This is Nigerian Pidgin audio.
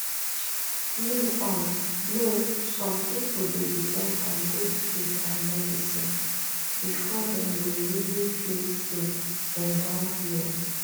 you um know some people dey depend on both faith and medicine before dem go really feel say dem don heal